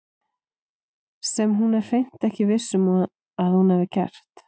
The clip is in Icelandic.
Sem hún er hreint ekki viss um að hún hafi gert.